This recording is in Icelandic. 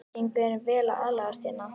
Gengur þeim vel að aðlagast hérna?